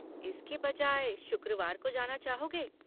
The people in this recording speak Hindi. इसके बजाय शुक्रवार को जाना चाहोगे?